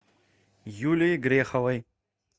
юлией греховой